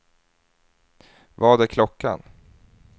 Vad är klockan